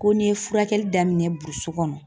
Ko n'i ye furakɛli daminɛ burusi kɔnɔ